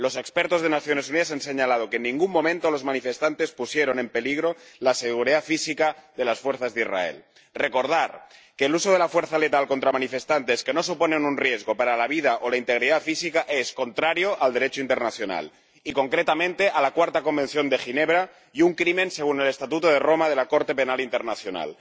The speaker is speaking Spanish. Los expertos de Naciones Unidas han señalado que en ningún momento los manifestantes pusieron en peligro la seguridad física de las fuerzas de Israel. Quiero recordar que el uso de la fuerza letal contra manifestantes que no suponen un riesgo para la vida o la integridad física es contrario al Derecho internacional —y concretamente al Cuarto Convenio de Ginebra— y un crimen según el Estatuto de Roma de la Corte Penal Internacional.